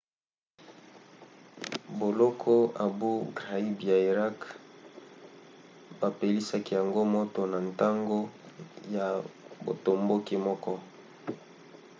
boloko abou ghraib ya irak bapelisaki yango moto na ntango ya botomboki moko